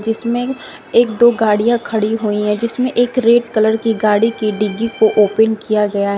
इसमें एक दो गाड़ियाँ खड़ी हुई हैं जिसमें एक रेड कलर की गाड़ी की डिग्गी को ओपेन किया गया--